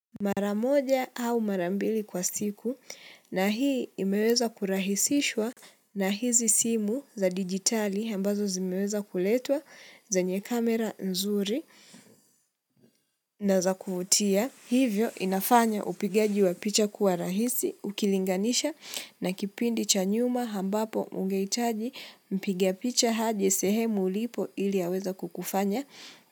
Mara moja au mara mbili kwa siku na hii imeweza kurahisishwa na hizi simu za digitali ambazo zimeweza kuletwa zanye kamera nzuri na za kuvutia. Hivyo inafanya upigaji wa picha kuwa rahisi ukilinganisha na kipindi cha nyuma ambapo ungehitaji mpiga picha aje sehemu ulipo ili aweze kukufanya.